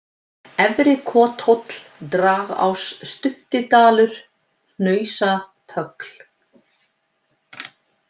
Efri-Kothóll, Dragás, Stuttidalur, Hnausatögl